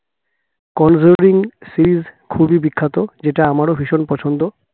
Conjuring series খুবই বিখ্যাত যেটা আমারও ভীষণ পছন্দ